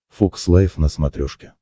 фокс лайф на смотрешке